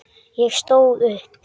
Ég stóð upp.